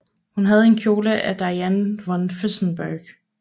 Hun havde en kjole af Diane von Fürstenberg